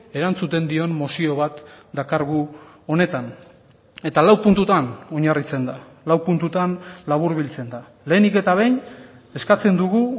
erantzuten dion mozio bat dakargu honetan eta lau puntutan oinarritzen da lau puntutan laburbiltzen da lehenik eta behin eskatzen dugu